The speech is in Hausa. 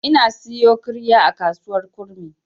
Ina siyo ƙirya a kasuwar kurmi.